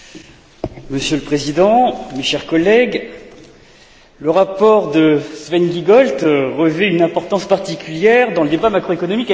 Monsieur le Président, mes chers collègues, le rapport de Sven Giegold revêt une importance particulière dans le débat macroéconomique actuel.